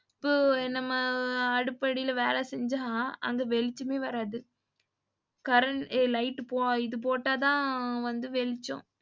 இப்ப நம்ம அடுப்படில வேல செஞ்சா அங்க வெளிச்சமே வராது current light இது போட்டாதான் வந்து வெளிச்சம்.